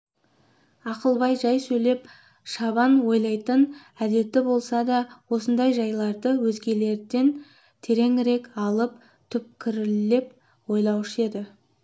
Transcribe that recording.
ақылбай жай сөйлеп шабан ойлайтын әдеті болса да осындай жайларды өзгелерден тереңірек алып түкпірлеп ойлаушы еді